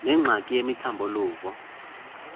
nengxaki yemithambo luvo